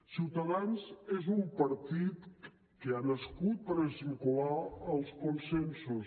ciutadans és un partit que ha nascut per esmicolar els consensos